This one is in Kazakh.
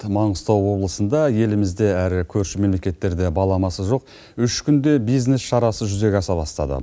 маңғыстау облысында елімізде әрі көрші мемлекеттерде баламасы жоқ үш күнде бизнес шарасы жүзеге аса бастады